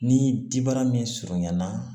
Ni dibaara min surunyan na